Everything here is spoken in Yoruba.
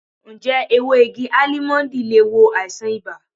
Ǹjẹ́ ewé igi Álímọ́ńdì le wo àìsàn ibà?